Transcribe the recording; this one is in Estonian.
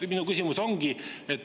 Minu küsimus on järgmine.